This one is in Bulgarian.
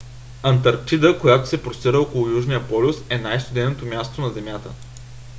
антарктида която се простира около южния полюс е най-студеното място на земята